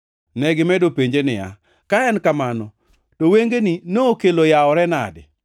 Negimedo penje niya, “Ka en kamano, to wengeni nokelo yawore nade?”